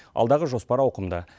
алдағы жоспар ауқымды